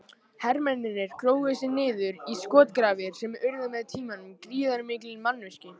Hermennirnir grófu sig niður í skotgrafir sem urðu með tímanum gríðarmikil mannvirki.